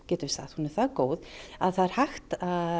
hún er það góð að það er hægt